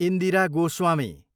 Indira Goswami